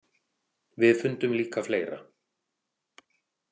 Við fundum líka fleira.